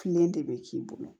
Kelen de bɛ k'i bolo